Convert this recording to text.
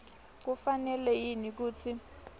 kufanele yini kutsi